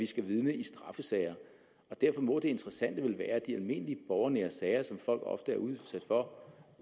skal vidne i straffesager og derfor må det interessante vel være at de almindelige borgernære sager som folk ofte er udsat for